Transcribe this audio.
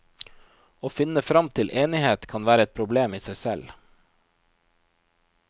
Å finne frem til enighet kan være et problem i seg selv.